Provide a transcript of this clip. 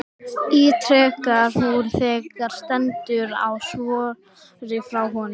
ítrekar hún þegar stendur á svari frá honum.